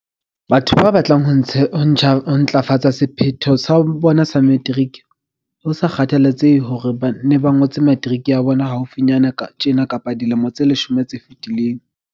Batho ba batlang ho ntlafatsa sephetho sa bona sa materiki, ho sa kgathaletsehe hore na ba ngotse materiki ya bona haufinyana tjena kapa dilemo tse leshome tse fetileng.